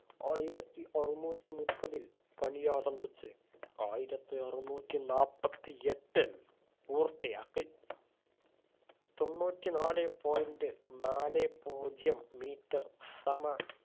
ആയിരത്തി അറുന്നൂറ്റി മുപ്പതിൽ പണിയാരംഭിച്ച് ആയിരത്തി അറുന്നൂറ്റി നാപ്പത്തി എട്ടിൽ പൂർത്തിയാക്കി തൊണ്ണൂറ്റി നാലെ point നാലേ പൂജ്യം metre സമ